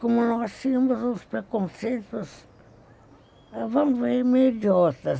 Como nós tínhamos uns preconceitos, vamos dizer, meio idiotas.